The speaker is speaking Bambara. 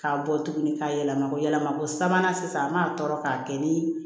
K'a bɔ tuguni k'a yɛlɛma yɛlɛma ko sabanan sisan an b'a tɔɔrɔ k'a kɛ ni